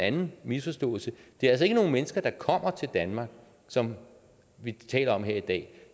en misforståelse det er altså ikke nogle mennesker der kommer til danmark som vi taler om her i dag